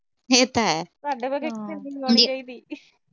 ਇਹ ਤਾਂ ਹੈ, ਸਾਡੇ ਵਰਗੀ ਕਿਸੇ ਦੀ ਨੀ ਹੋਣੀ ਚਾਹੀਦੀ।